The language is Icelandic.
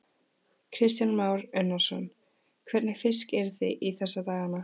Kristján Már Unnarsson: Hvernig fisk eruð þið í þessa dagana?